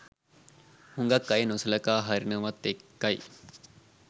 හුගක් අය නොසලකා හරිනවත් එක්කයි.